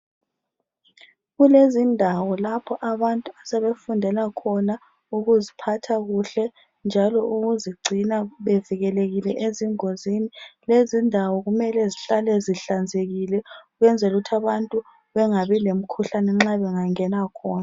Kulezindawo lapho abantu asebefundela khona ukuziphatha kuhle njalo ukuzigcina bevikelekile ezingozini. Lezindawo kumele zihlale zihlanzekile ukwenzela ukuthi abantu bengabi lemikhuhlane nxa bengangena khona.